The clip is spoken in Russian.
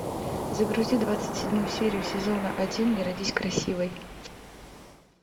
загрузи двадцать седьмую серию сезона один не родись красивой